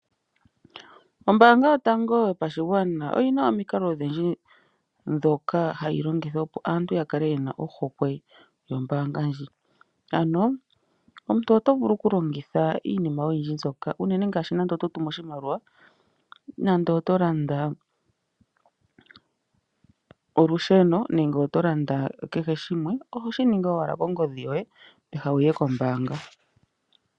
Ombaanga Yotango Yopashigwana oyi na omikalo odhindji ndhoka hadhi longithwa, opo aantu ya kale ye na ohokwe nombaanga ndjika, unene ngele oto tumu oshimaliwa nande oto landa olusheno nenge oto landa kehe shimwe oho shi ningi owala kongodhi yoye peha wu ye kombaanga.